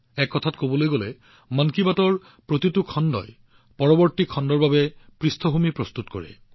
এক প্ৰকাৰে মন কী বাতৰ প্ৰতিটো খণ্ডই পৰৱৰ্তী খণ্ডৰ বাবে মঞ্চ প্ৰস্তুত কৰে